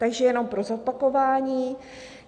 Takže jenom pro zopakování.